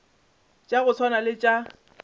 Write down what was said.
tša go swana le tša